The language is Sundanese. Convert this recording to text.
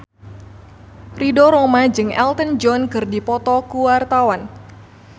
Ridho Roma jeung Elton John keur dipoto ku wartawan